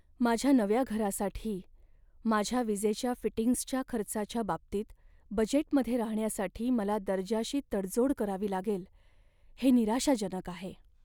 माझ्या नव्या घरासाठी माझ्या विजेच्या फिटिंग्जच्या खर्चाच्या बाबतीत बजेटमध्ये राहण्यासाठी मला दर्जाशी तडजोड करावी लागेल हे निराशाजनक आहे.